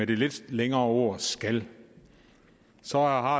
det lidt længere ord skal så har